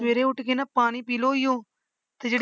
ਸਵੇਰੇ ਉੱਠ ਕੇ ਨਾ ਪਾਣੀ ਪੀ ਲਓ ਉਹੀਓ ਤੇ ਜਿਹ